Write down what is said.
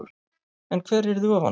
En hver yrði ofan á?